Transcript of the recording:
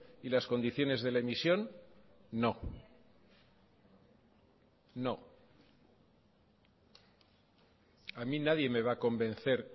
y las condiciones de la emisión no no a mí nadie me va a convencer